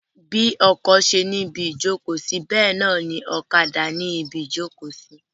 Bí ọkọ ṣe ni ibi ìjókòó sí bẹ́ẹ̀ náà ni ọ̀kadà ni ibi ìjókòó sí.